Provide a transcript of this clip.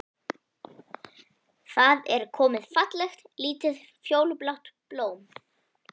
Það er komið fallegt, lítið, fjólublátt blóm.